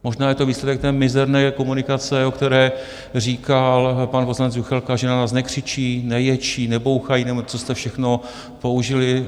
Možná je to výsledek té mizerné komunikace, o které říkal pan poslanec Juchelka, že na nás nekřičí, neječí, nebouchají... nebo co jste všechno použili.